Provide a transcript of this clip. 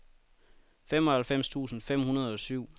femoghalvfems tusind fem hundrede og syv